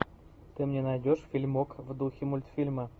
ты мне найдешь фильмок в духе мультфильма